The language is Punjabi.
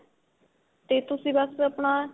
ਤੇ ਤੁਸੀਂ ਬੱਸ ਆਪਣਾ